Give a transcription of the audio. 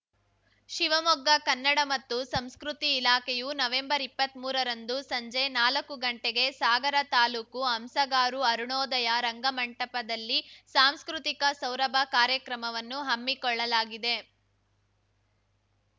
ಶಿವಮೊಗ್ಗ ಕನ್ನಡ ಮತ್ತು ಸಂಸ್ಕೃತಿ ಇಲಾಖೆಯು ನವೆಂಬರ್ಇಪ್ಪತ್ಮೂರ ರಂದು ಸಂಜೆ ನಾಲಕ್ಕು ಗಂಟೆಗೆ ಸಾಗರ ತಾಲೂಕು ಹಂಸಗಾರು ಅರುಣೋದಯ ರಂಗಮಂಟಪದಲ್ಲಿ ಸಾಂಸ್ಕೃತಿಕ ಸೌರಭ ಕಾರ್ಯಕ್ರಮವನ್ನು ಹಮ್ಮಿಕೊಳ್ಳಲಾಗಿದೆ